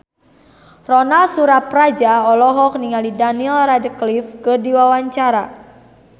Ronal Surapradja olohok ningali Daniel Radcliffe keur diwawancara